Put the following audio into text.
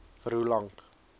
vir hoe lank